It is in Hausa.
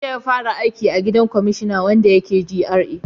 Jiya ya fara aiki a gidan kwamashina wanda yake GRA